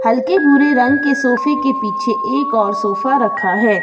हल्के भूरे रंग के सोफे के पीछे एक और सोफा रखा है।